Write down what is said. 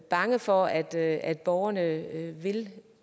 bange for at borgerne vil